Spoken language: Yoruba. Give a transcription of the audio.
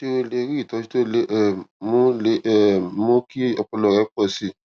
ṣé o lè rí ìtójú tó lè um mú lè um mú kí ọpọlọ rẹ pò sí i